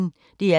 DR P1